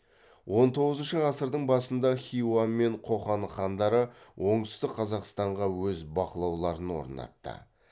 он тоғызыншы ғасырдың басында хиуа мен қоқан хандары оңтүстік қазақстанға өз бақылауларын орнатты